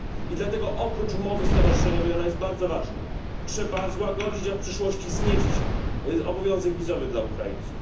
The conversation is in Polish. I dlatego oprócz umowy stowarzyszeniowej ona jest bardzo ważna trzeba złagodzić, a w przyszłości znieść obowiązek wizowy dla Ukraińców.